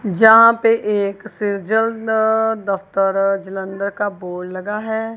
जहां पे एक से ज्यादा दफ्तर जालंधर का बोर्ड लगा है।